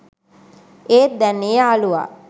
ඒත් දැන් ඒ යාලුවා